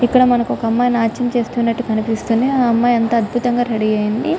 ఇక్కడ ఒక అమ్మాయి మనకి నాట్యం చేస్తునట్టు కనిపిస్తుంది అమ్మాయి చాలా ఎంతో అద్భుతంగా రెడీ అయింది